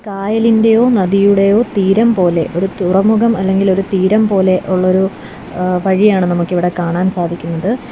കായലിന്റെയോ നദിയുടെയോ തീരം പോലെ ഒരു തുറമുഖം അല്ലെങ്കിൽ ഒരു തീരം പോലെ ഒള്ളൊരു ഏഹ് വഴിയാണ് നമുക്കിവിടെ കാണാൻ സാധിക്കുന്നത്.